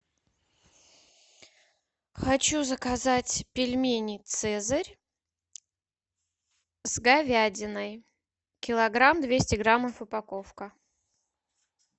хочу заказать пельмени цезарь с говядиной килограмм двести граммов упаковка